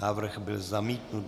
Návrh byl zamítnut.